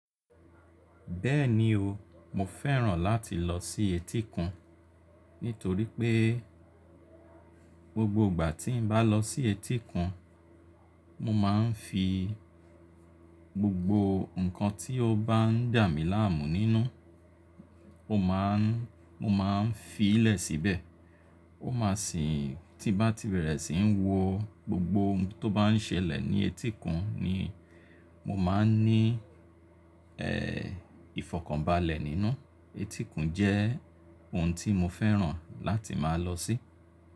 Bẹ́ẹ̀ni o, mo fẹ́ràn láti lọ sí etíkun nítorí pé gbogbo ìgbà tí n bá lọ sí etíkun, mo máa ń fi gbogbo nǹkan tí ó bá ń dà mí láàmú nínú, mo máa ń fi í lẹ̀ síbẹ̀. Ó máa sì tí bá ti bẹ̀rẹ̀ sí ń wọ gbogbo ohun tó bá ń ṣẹlẹ̀ ní etíkun ni mo máa ń ní ìfọ̀kànbalẹ̀ nínú. Etíkun jẹ́ ohun tí mo fẹ́ràn láti máa lọ sí.